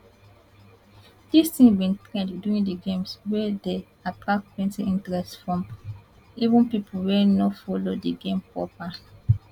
dis tins bin trend during di games wia dey attract plenti interest from even pipo wey no follow di games proper